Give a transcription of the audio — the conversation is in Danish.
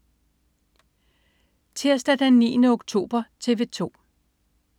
Tirsdag den 9. oktober - TV 2: